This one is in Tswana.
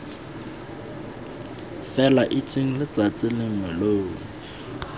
fela itseng letsatsi lengwe lo